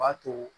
O b'a to